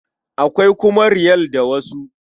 Akwai kuma Riyal da wasu.